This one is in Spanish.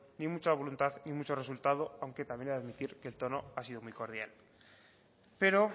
ni mucha voluntad ni mucho resultado aunque también he de admitir que el tono ha sido muy cordial pero